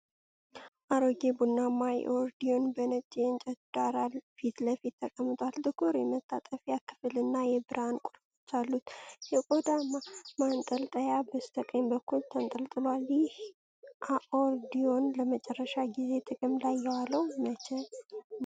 አሮጌ ቡናማ አኮርዲዮን በነጭ የእንጨት ዳራ ፊት ለፊት ተቀምጧል። ጥቁር የመታጠፊያ ክፍል እና የብርሃን ቁልፎች አሉት። የቆዳ ማንጠልጠያ በስተቀኝ በኩል ተንጠልጥሏል። ይህ አኮርዲዮን ለመጨረሻ ጊዜ ጥቅም ላይ የዋለው መቼ ነበር?